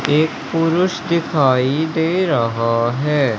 एक पुरुष दिखाई दे रहा है।